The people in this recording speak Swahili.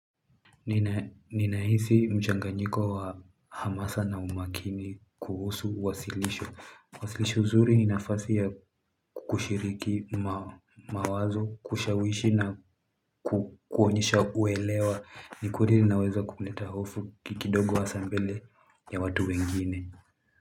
Ninahisi mchanganyiko wa hamasa na umakini kuhusu wasilisho Wasilisho zuri ni nafasi ya kushiriki mawazo, kushawishi na kuonyesha uelewa Nikudiri naweza kumleta hofu kikidogo hasa mbele ya watu wengine.